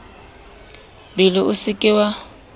bele o se ke wa